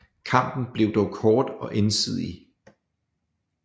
Kampen blev dog kort og ensidig